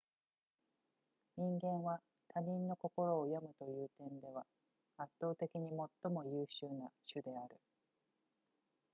人間は他人の心を読むという点では圧倒的に最も優秀な種である